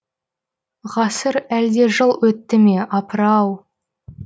ғасыр әлде жыл өтті ме апыр ау